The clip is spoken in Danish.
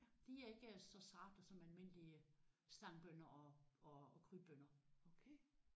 Ja de er ikke så sarte som almindelige stangbønner og og krybbønner